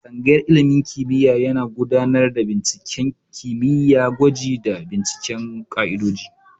Tsangayar ilimin kimiyya yana gudanar da binciken kimiyya, gwaji, da binciken ka'idoji.